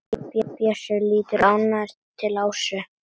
Bjössi lítur ánægður til Ásu.